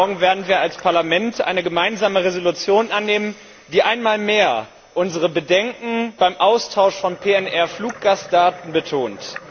Morgen werden wir als Parlament eine gemeinsame Entschließung annehmen, die einmal mehr unsere Bedenken beim Austausch von Fluggastdaten betont.